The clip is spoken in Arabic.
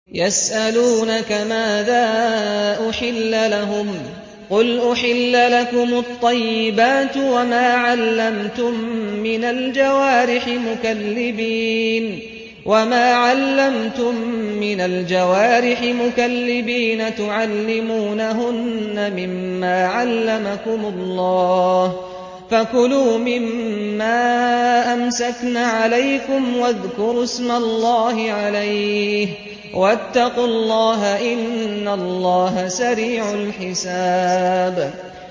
يَسْأَلُونَكَ مَاذَا أُحِلَّ لَهُمْ ۖ قُلْ أُحِلَّ لَكُمُ الطَّيِّبَاتُ ۙ وَمَا عَلَّمْتُم مِّنَ الْجَوَارِحِ مُكَلِّبِينَ تُعَلِّمُونَهُنَّ مِمَّا عَلَّمَكُمُ اللَّهُ ۖ فَكُلُوا مِمَّا أَمْسَكْنَ عَلَيْكُمْ وَاذْكُرُوا اسْمَ اللَّهِ عَلَيْهِ ۖ وَاتَّقُوا اللَّهَ ۚ إِنَّ اللَّهَ سَرِيعُ الْحِسَابِ